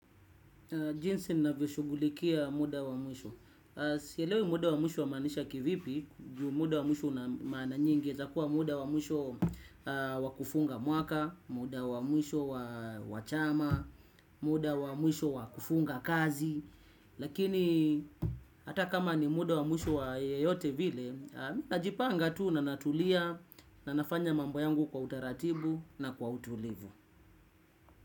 Jinsi ninavyoshughulikia muda wa mwisho. Sielewi muda wa mwisho wamaanisha kivipi, juu muda wa mwisho huna maana nyingi, unaezakuwa muda wa mwisho wa kufunga mwaka, muda wa mwisho wa chama, muda wa mwisho wa kufunga kazi, lakini hata kama ni muda wa mwisho wa yeyote vile, najipanga tu na natulia, na nafanya mambo yangu kwa utaratibu na kwa utulivu.